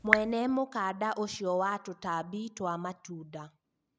mwene mũkanda ũcio wa tũtambi twa matũnda